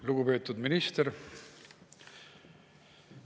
Lugupeetud minister!